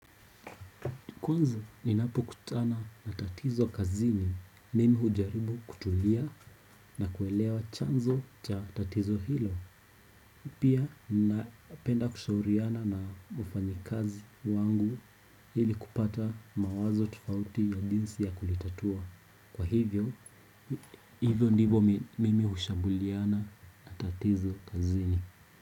Kwanza, ninapokutana na tatizo kazini, mimi hujaribu kutulia na kuelewa chanzo cha tatizo hilo. Pia, napenda kushauriana na wafanyikazi wangu ili kupata mawazo tofauti ya jinsi ya kulitatua. Kwa hivyo, hivyo ndivyo mimi hushambuliana na tatizo kazini.